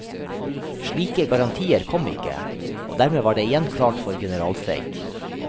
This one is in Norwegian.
Slike garantier kom ikke, og dermed var det igjen klart for generalstreik.